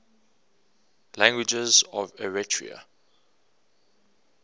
languages of eritrea